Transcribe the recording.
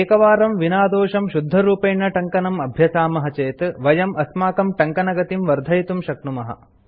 एकवारं विनादोषं शुद्धरूपेण टङ्कनं अभ्यसामः चेत् वयं अस्माकं टङ्कनगतिं वर्धयितुं शक्नुमः